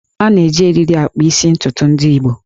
A na-eji eriri akpa isi ntukwu ndị Igbo